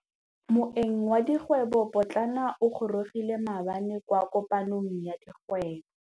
Moêng wa dikgwêbô pôtlana o gorogile maabane kwa kopanong ya dikgwêbô.